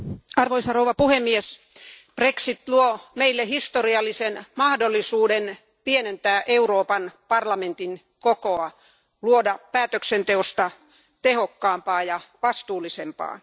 Arvoisa puhemies, brexit luo meille historiallisen mahdollisuuden pienentää Euroopan parlamentin kokoa, luoda päätöksenteosta tehokkaampaa ja vastuullisempaa.